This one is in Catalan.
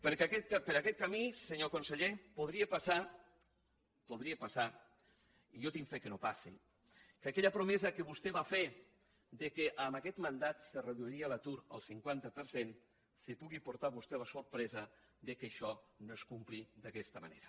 per aquest camí senyor conseller podria passar podria passar i jo tinc fe que no passi que aquella promesa que vostè va fer que en aquest mandat se reduiria l’atur al cinquanta per cent se pugui portar vostè la sorpresa que això no es compleixi d’aquesta manera